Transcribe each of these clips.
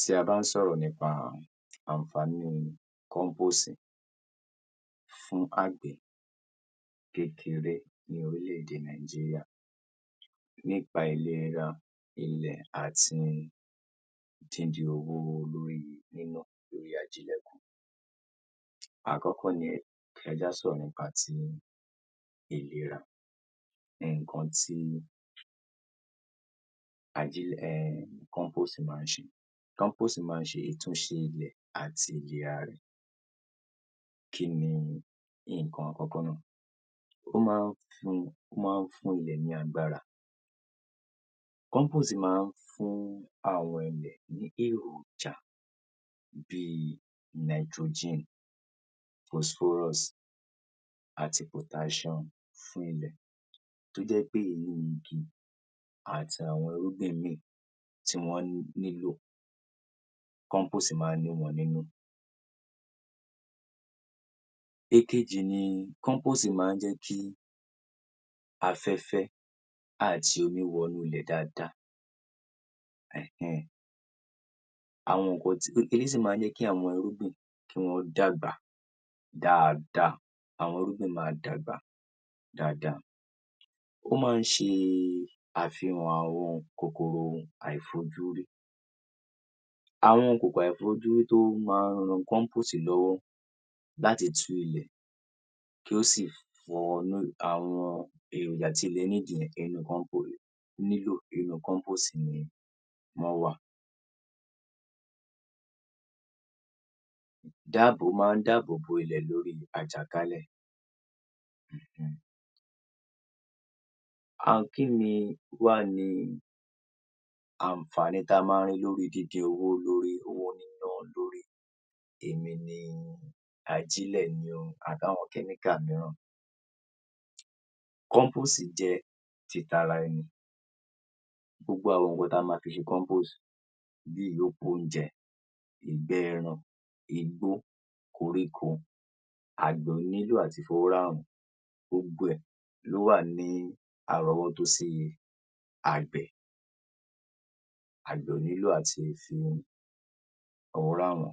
Tí a bá ń sọ̀rọ̀ nípa àǹfààní compose fún àgbẹ̀ kékeré ní orílẹ̀ - èdè Nàìjíríà nípa ìlera ilẹ̀ àti díndín owó lórí níná lórí ajílẹ̀ kù, àkọ́kọ́ nì, ẹ jẹ́ kí a sọ̀rọ̀ nípa ti ìlera, nǹkan tí ajílẹ̀, ehen ehen, compose máa ń ṣe, compose máa ń ṣe ìtúnṣe ilẹ̀ àti ilẹ̀ ara ẹ̀, kí ni nǹkan àkọ́kọ́ náà, ó máa ń fún ilẹ̀ ní agbára, compose máa ń fún àwọn ilẹ̀ ní èròjà bí i Nitrogen, phosphorus àti potassium fún ilẹ̀ tó jẹ́ wí pé àwọn èrún igi àti àwọn irúgbìn mìíràn tí wọ́n nílò, compost máa ń ní wọn nínú. Ìkejì ni compost máa ń jẹ́ kí afẹ́fẹ́ àti omi wọ inú ilẹ̀ dáadáa ehen ehen! ,àwọn nǹkan, ó sì máa ń jẹ́ kí àwọn irúgbìn dàgbà dáadáa, irúgbìn máa dàgbà dáadáa, ó sì máa ń ṣe àfihàn àwọn kòkòrò àìfojúrí, àwọn kòkòrò àìfojúrí tó máa ń ran compost lọ́wọ́ láti tú ilẹ̀, kí ó sì fún àwọn èròjà tí ilẹ̀ need yẹn nínú compost ni wọ́n wà, dáàbò, ó máa ń dáàbò ilẹ̀ lọ́wọ́ àjàkálẹ̀. Hmm! um Kí wá ni, kí ni àǹfààní tí ó wá wà nínú gígé owó, lórí owó níná lórí èmi ni ajílẹ̀ ni o àbí àwọn kẹ́míkà mìíràn? Compose jẹ́ titara ẹni, gbogbo àwọn nǹkan ta ma fi ṣe compose bí i ìyókù oúnjẹ, bí i ìgbẹ́ ẹran, bí i igbó, koríko, àgbẹ̀ ò kì í nílò àti fi owó rà wọ́n, gbogbo ẹ̀ wá à ní àròwọ́tọ́ sí i, àgbẹ̀, kò nílò àti fi owó rà wọ́n,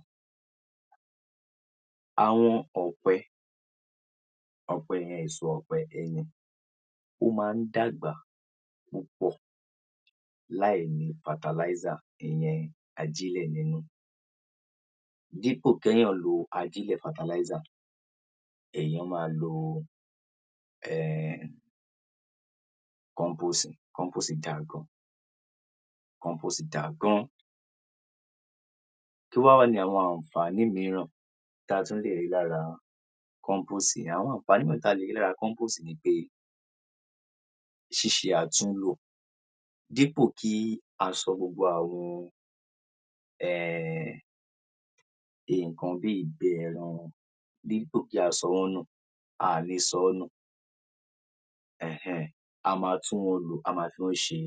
àwọn ọ̀pẹ yẹn, èso ọ̀pẹ yẹn, ẹyìn ó máa ń dàgbà púpọ̀ láì ní ajílẹ̀ nínú ìyẹn fertilizer ,dípò kí èèyàn lo ajílẹ̀ fertilizer, èèyàn máa lo ehen ehen! kí ni compose, compose dáa gan-an, gan-an, kí wá ni àwọn àǹfààní mìíràn, àwọn àǹfààní mìíràn ta lè rí lára compost ni pé ṣíṣe àtúnlò dípò kí a sọ àwọn nǹkan bí ìgbẹ́ ẹran kí a sọ wọ́n nù, a kò ní sọ wọ́n nù, ehen, a máa tún wọn lò, a máa fi wọ́n ṣe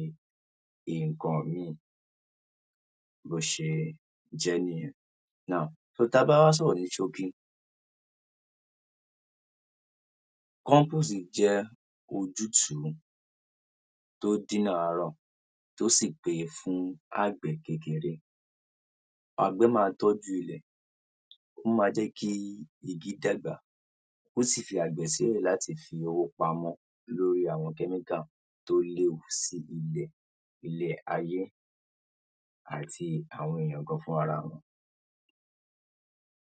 nǹkan míì, bí ó ṣe jẹ́ nìyẹn. Now, ta bá wá sọ̀rọ̀ ní ṣókí, compost jẹ́ ojútùú tó díná àárọ̀ tó sì pé ojútùú fún àgbẹ̀ kékeré, ó máa tọ́jú ilẹ̀, ó máa mú kí igi dàgbà, ó sì tún máa jẹ́ kí àgbẹ̀ fi owó pamọ́ lórí àwọn kẹ́míkà tó léwu sí ilẹ̀, tó léwu sí ilé ayé, àti àwọn èèyàn gan-an fúnra ara wọn.